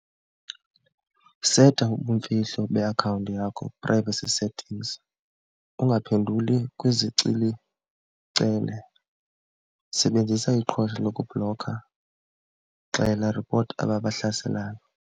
Seta ubumfihlo beakhawunti yakho privacy settings, ungaphenduli , sebenzisa iqhosha lokubhlokha, xela ripota aba bahlaselayo.